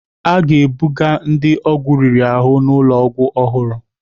A ga-ebuga ndị ọgwụ riri ahụ n'ụlọ ọgwụ ọhụrụ.